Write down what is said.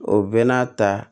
O bɛɛ n'a ta